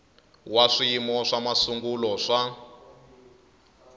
wa swiyimo swa masungulo swa